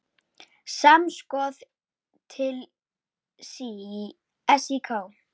Samskot til SÍK.